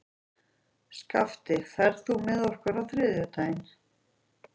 Skafti, ferð þú með okkur á þriðjudaginn?